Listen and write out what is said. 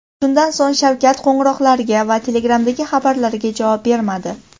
Shundan so‘ng Shavkat qo‘ng‘iroqlarga va Telegram’dagi xabarlarga javob bermadi.